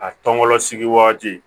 A tɔn sigi wagati